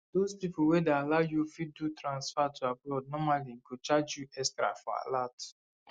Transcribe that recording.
those people wey dey allow u fit do transfer to abroad normally go charge u extra for alert